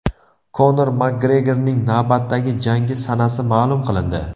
Konor Makgregorning navbatdagi jangi sanasi ma’lum qilindi.